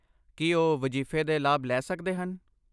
ਕੀ ਉਹ ਵਜ਼ੀਫ਼ੇ ਦਾ ਲਾਭ ਲੈ ਸਕਦੇ ਹਨ?